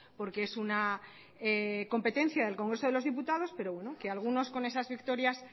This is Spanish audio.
porque es una competencia del congreso de los diputados pero bueno que algunos con esas victorias